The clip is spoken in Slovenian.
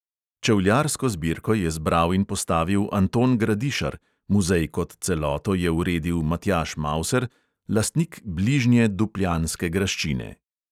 Čevljarsko zbirko je zbral in postavil anton gradišar, muzej kot celoto je uredil matjaž mauser, lastnik bližnje dupljanske graščine.